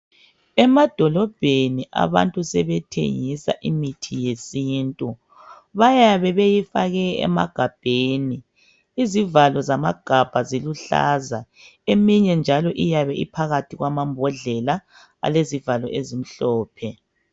Emadolobheni abantu sebethengisa imithi yesintu. Bayabe beyifake emagabheni. Izivalo zamagabha ziluhlaza. Eminye njalo iyabe iphakathi kwamambhodlela alezivalo ezimhlophe.